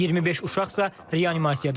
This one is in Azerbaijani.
25 uşaqsa reanimasiyadadır.